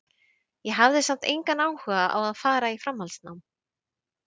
Ég hafði samt engan áhuga á að fara í framhaldsnám.